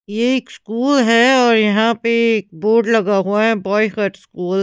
यह एक स्कूल है और यहां पे एक बोर्ड लगा हुआ है बॉय कट स्कूल --